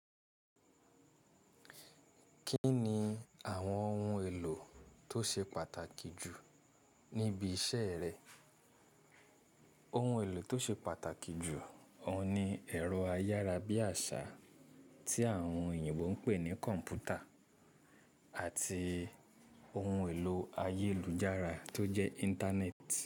Kí ni àwọn ohun èlò tó ṣe pàtàkì jù níbi iṣẹ́ rẹ? Ohun èlò tó ṣe pàtàkì jù ọ̀ ni ẹ̀rọ ayára bí àṣá tí àwọn èyinbo ń pè ní kọ̀m̀pútà àti ohun èlò ayélujára tó jẹ́ Íńtánẹ́ẹ̀tì.